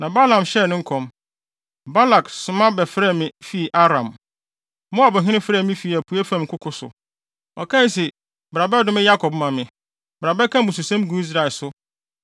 Na Balaam hyɛɛ ne nkɔm: “Balak soma bɛfrɛɛ me fii Aram, Moabhene frɛɛ me fii apuei fam nkoko so. Ɔkae se, ‘Bra bɛdome Yakob ma me; bra bɛka mmususɛm gu Israel so.’